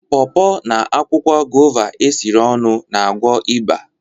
paw paw na akwụkwọ guava esiri ọnụ na-agwọ ịba